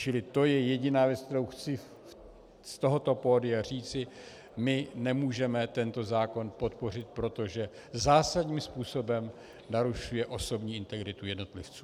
Čili to je jediná věc, kterou chci z tohoto pódia říci: my nemůžeme tento zákon podpořit, protože zásadním způsobem narušuje osobní integritu jednotlivců.